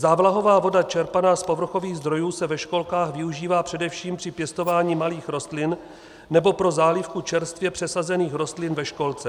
Závlahová voda čerpaná z povrchových zdrojů se ve školkách využívá především při pěstování malých rostlin nebo pro zálivku čerstvě přesazených rostlin ve školce.